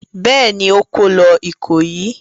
Bẹ́ẹ̀ ni, ó kó lọ Ìkòyí.